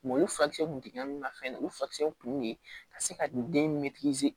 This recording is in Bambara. olu furakisɛw kun jiginna n na fɛn na olu furakisɛw kun de ye ka se ka den